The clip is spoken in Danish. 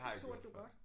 Det turde du godt